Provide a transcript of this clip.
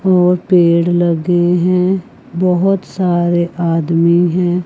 और पेड़ लगे हैं बहोत सारे आदमी हैं।